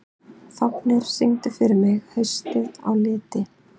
Fáfnir, syngdu fyrir mig „Haustið á liti“.